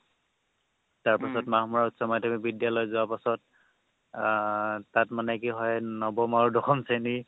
তাৰপিছত মাহমৰা উচ্চ মাধ্যমিক বিদ্যালয় যোৱাৰ পিছত আহ তাত মানে কি হয় নৱম আৰু দশম শ্ৰেণী